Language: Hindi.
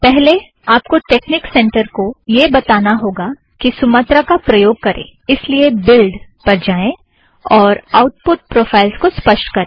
पहले आपको टेकनिक सेंटर को यह बताना होगा कि सुमत्रा का प्रयोग करें इस लिए बिल्ड़ पर जाएं और आउटपुट प्रोफ़ाइल को स्पष्ट करें